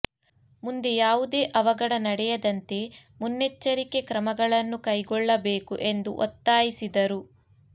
ಮುಂದೆ ಯಾವುದೇ ಅವಘಡ ನಡೆಯದಂತೆ ಮುನ್ನೆಚ್ಚ ರಿಕೆ ಕ್ರಮಗಳನ್ನು ಕೈಗೊಳ್ಳಬೇಕು ಎಂದು ಒತ್ತಾಯಿಸಿದರು